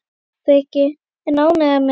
Breki: En ánægð með hana?